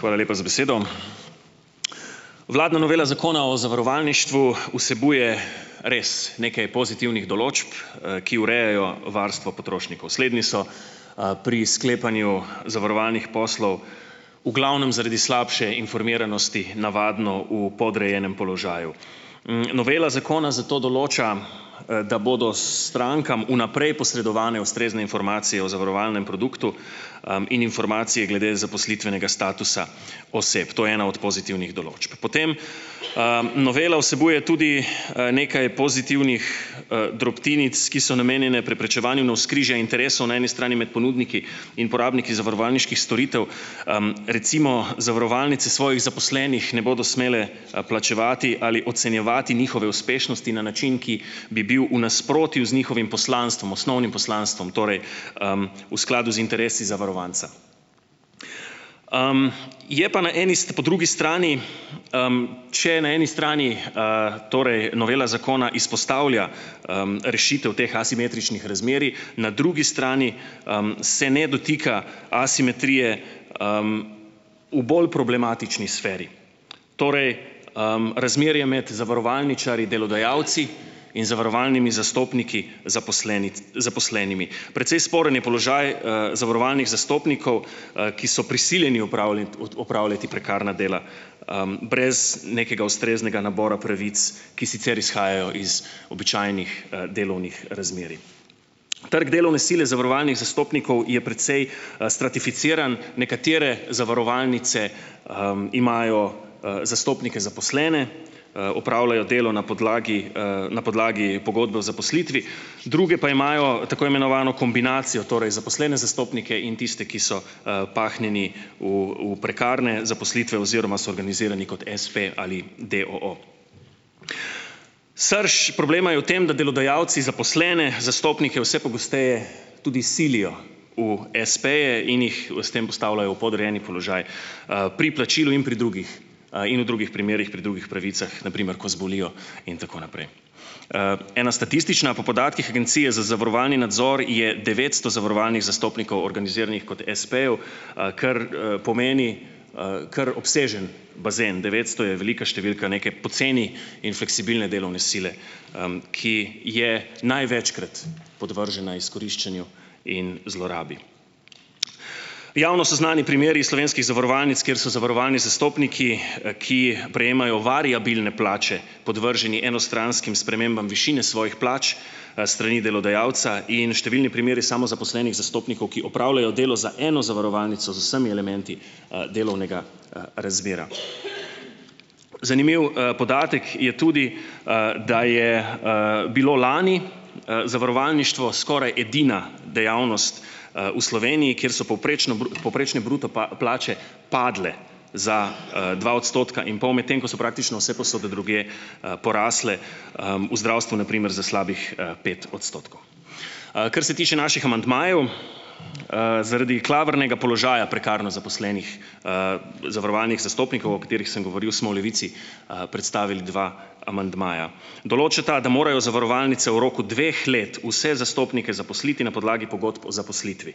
Hvala lepa za besedo. Vladna novela Zakona o zavarovalništvu vsebuje res nekaj pozitivnih določb, ki urejajo varstvo potrošnikov. Slednji so, pri sklepanju zavarovalnih poslov v glavnem zaradi slabše informiranosti navadno v podrejenem položaju. Novela zakona zato določa, da bodo strankam vnaprej posredovane ustrezne informacije o zavarovalnem produktu, in informacije glede zaposlitvenega statusa oseb. To je ena od pozitivnih določb. Potem, novela vsebuje tudi nekaj pozitivnih, drobtinic, ki so namenjene preprečevanju navzkrižja interesov na eni strani med ponudniki in porabniki zavarovalniških storitev. Recimo zavarovalnice svojih zaposlenih ne bodo smele, plačevati ali ocenjevati njihove uspešnosti na način, ki bi bil v nasprotju z njihovim poslanstvom, osnovnim poslanstvom, torej v skladu z interesi zavarovanca. Je pa na eni po drugi strani, če na eni strani torej novela zakona izpostavlja, rešitev teh asimetričnih razmerij, na drugi strani, se ne dotika asimetrije v bolj problematični sferi, torej razmerje med zavarovalničarji delodajalci in zavarovalnimi zastopniki zaposlenimi. Precej sporen je položaj, zavarovalnih zastopnikov, ki so prisiljeni opravljati prekarna dela, brez nekega ustreznega nabora pravic, ki sicer izhajajo iz običajnih, #ee,e delovnih razmerij. Trg delovne sile zavarovalnih zastopnikov je precej, stratificiran. Nekatere zavarovalnice, imajo, zastopnike zaposlene, opravljajo delo na podlagi, na podlagi pogodbe o zaposlitvi, druge pa imajo tako imenovano kombinacijo, torej zaposlene zastopnike in tiste, ki so, pahnjeni v v prekarne zaposlitve oziroma so organizirani kot espe, ali d. o. o. Srž problema je v tem, da delodajalci zaposlene zastopnike vse pogosteje tudi silijo v espeje in jih s tem postavljajo v podrejeni položaj, pri plačilu in pri drugih, in v drugih primerih pri drugih pravicah, na primer, ko zbolijo in tako naprej. Ena statistična. Po podatkih Agencije za zavarovalni nadzor je devetsto zavarovalnih zastopnikov organiziranih kot espejev, kar, pomeni, kar obsežen bazen, devetsto je velika številka neke poceni in fleksibilne delovne sile, ki je največkrat podvržena izkoriščanju in zlorabi. Javno so znani primeri iz slovenskih zavarovalnic, kjer so zavarovalni zastopniki, ki prejemajo variabilne plače, podvrženi enostranskim spremembam višine svojih plač, strani delodajalca in številni primeri samozaposlenih zastopnikov, ki opravljajo delo za eno zavarovalnico z vsemi elementi, delovnega, razmerja. Zanimiv, podatek je tudi, da je, bilo lani, zavarovalništvo skoraj edina dejavnost, v Sloveniji, kjer so povprečno povprečne bruto plače padle za, dva odstotka in pol, medtem ko so praktično vsepovsod drugje, porasle, v zdravstvu na primer za slabih, pet odstotkov. Kar se tiče naših amandmajev, zaradi klavrnega položaja prekarno zaposlenih zavarovalnih zastopnikov, o katerih sem govorili, smo v Levici, predstavili dva amandmaja. Določata, da morajo zavarovalnice v roku dveh let vse zastopnike zaposliti na podlagi pogodb o zaposlitvi.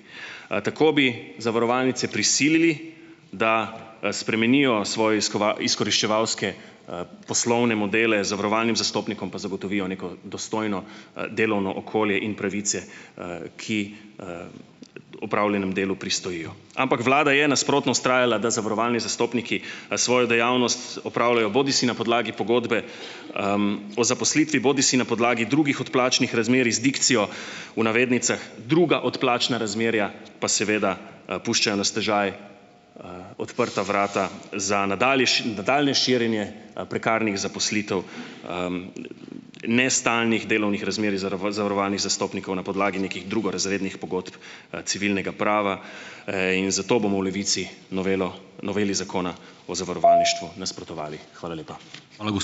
Tako bi zavarovalnice prisilili, da spremenijo svoje izkoriščevalske poslovne modele, zavarovalnim zastopnikom pa zagotovijo neko dostojno, delovno okolje in pravice, ki opravljenemu delu pristojijo. Ampak vlada je nasprotno vztrajala, da zavarovalni zastopniki, svojo dejavnost opravljajo bodisi na podlagi pogodbe o zaposlitvi bodisi na podlagi drugih odplačnih razmerij z dikcijo, v navednicah, druga odplačna razmerja, pa seveda, puščajo na stežaj odprta vrata za nadaljnje širjenje, prekarnih zaposlitev, nestalnih delovnih razmerij zavarovalnih zastopnikov na podlagi nekih drugorazrednih pogodb, civilnega prava. In zato bomo v Levici novelo noveli Zakona o zavarovalništvu nasprotovali. Hvala lepa.